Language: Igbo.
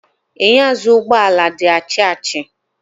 Enyo azụụ ụgbọ ala di achi achi.